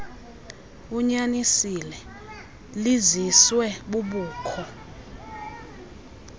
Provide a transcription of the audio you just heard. unyanisile liziswe bubukho